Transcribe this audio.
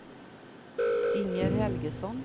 Inger Helgesson